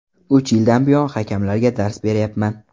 Uch yildan buyon hakamlarga dars berayapman.